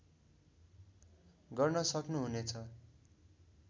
गर्न सक्नुहुने छ